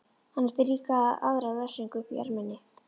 Hann átti líka aðra refsingu uppi í erminni.